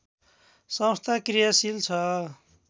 संस्था कृयाशील छ